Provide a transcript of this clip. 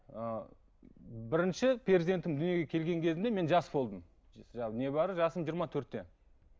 ы бірінші перзентім дүниеге келген кезімде мен жас болдым не бары жасым жиырма төртте